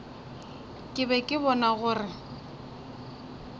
ke be ke bona gore